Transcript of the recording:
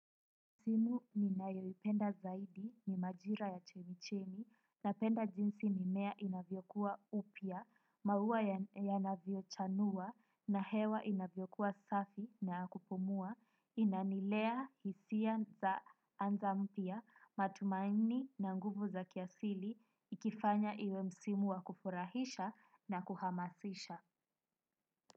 Msimu ninaiyoipenda zaidi ni majira ya chemichemi napenda jinsi mimea inavyokuwa upya, maua yanavyochanua na hewa inavyokuwa safi na ya kupumua, inanilea hisia za anza mpya, matumaini na nguvu za kiasili, ikifanya iwe msimu wa kufurahisha na kuhamasisha.